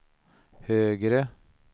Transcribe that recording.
högre